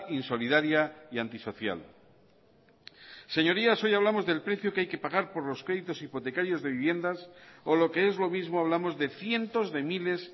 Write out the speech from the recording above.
insolidaria y antisocial señorías hoy hablamos del precio que hay que pagar por los créditos hipotecarios de viviendas o lo que es lo mismo hablamos de cientos de miles